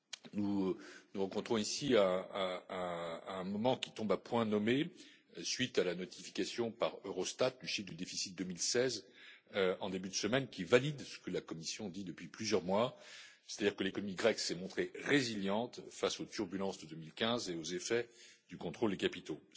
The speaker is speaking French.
Nous nous rencontrons ici à un moment qui tombe à point nommé, suite à la notification par Eurostat du chiffre du déficit 2016, en début de semaine, qui valide ce que la Commission dit depuis plusieurs mois, c'est à dire que l'économie grecque s'est montrée résiliente face aux turbulences de 2015 et aux effets du contrôle des capitaux.